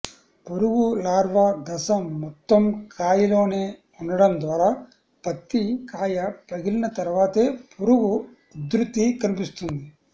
పురుగు లార్వా దశ మొత్తం కాయలోనే ఉండడం ద్వారా పత్తి కాయ పగిలిన తర్వాతే పురుగు ఉధృతి కనిపిస్తుంది